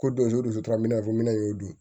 Ko don o don tora minɛnfɛmin